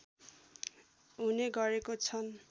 हुने गरेको छन्